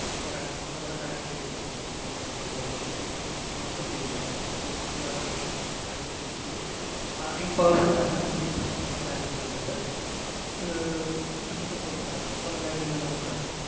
പറയണം നമുക്ക് നമ്മുടെ കാര്യം state ചെയ്യണം okay നമുക്കിപ്പോ ഇങ്ങനെ ഒരു സംഭവമുള്ളത്കൊണ്ട് നമുക്ക് numberchange ചെയ്യണം അപ്പഴത്തെക്കും full address ഉം card details ഉം വെച്ചിട്ട് ആഹ് in person തന്നെ ഇവിടുത്തെപട്ടത്ത് branch ല്‍ വന്നിട്ട് ആഹ് request letter കൊടുത്താല്‍മതി ബാങ്കില്‍ തന്നെ കൊടുത്താല്‍ മതി.